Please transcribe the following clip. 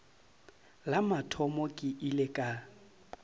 la mathomo ke ile ka